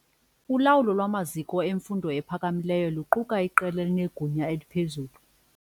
Ulawulo lwamaziko emfundo ephakamileyo luquka iqela elinegunya eliphezulu.